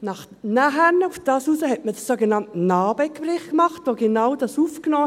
Nachher, daraufhin, hat man den sogenannten NA-BE-Bericht gemacht, der genau das aufnahm.